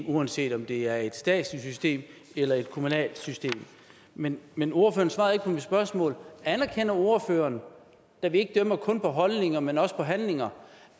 uanset om det er et statsligt system eller et kommunalt system men men ordføreren svarede ikke på mit spørgsmål anerkender ordføreren da vi ikke dømmer kun på holdninger men også på handlinger